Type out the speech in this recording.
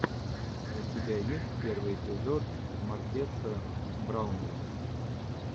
у тебя есть первый эпизод маркеса браунли